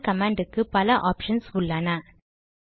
man command க்கு பல options உள்ளன